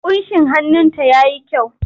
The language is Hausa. Ƙunshin hannunta ya yi kyau.